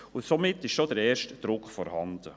Somit ist schon der erste Druck vorhanden.